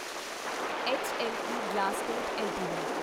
ਹਲੇ ਗਲਾਸਕੋਟ ਐੱਲਟੀਡੀ